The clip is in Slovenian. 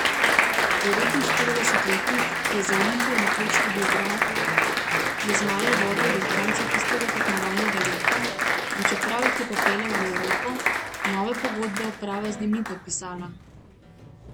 Devetinštiridesetletnik, ki je za Olimpijo nekoč tudi igral, je zmaje vodil do konca tistega tekmovalnega leta, in čeprav jih je popeljal v Evropo, nove pogodbe uprava z njim ni podpisala.